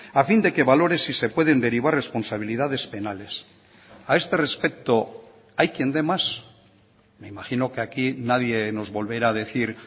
a fin de que valore si se pueden derivar responsabilidades penales a este respecto hay quién dé más me imagino que aquí nadie nos volverá a decir